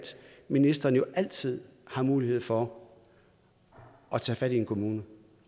ministeren altid har mulighed for at tage fat i en kommune